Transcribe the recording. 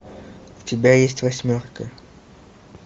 у тебя есть восьмерка